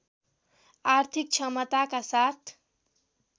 आर्थिक क्षमताका साथ